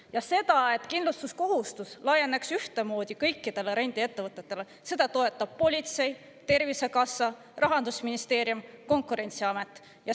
Ja seda, et kindlustuskohustus laieneks ühtemoodi kõikidele rendiettevõtetele, seda toetab politsei, Tervisekassa, Rahandusministeerium, Konkurentsiamet.